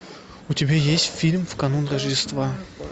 у тебя есть фильм в канун рождества